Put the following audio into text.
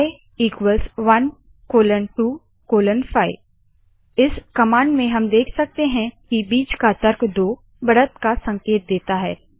आई 125 इस कमांड में हम देख सकते है की बीच का तर्क दो बढ़त का संकेत देता है